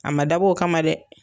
A ma dabɔ o kama dɛ